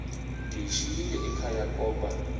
ndiyishiyile ekhaya koba